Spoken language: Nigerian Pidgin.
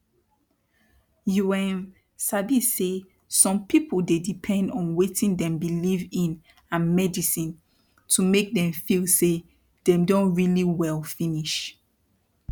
you erm sabi say some pipu dey depend on wetin dem believe in and medisin to make dem feel say dem don really well finish